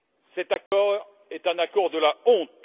Cet accord est un accord de la honte.